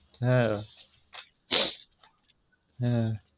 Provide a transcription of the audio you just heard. ஆ ஆ